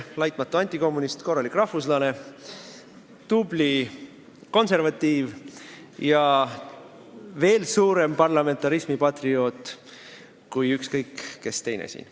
Ta on laitmatu antikommunist, korralik rahvuslane, tubli konservatiiv ja veel suurem parlamentarismi patrioot kui ükskõik kes teine siin.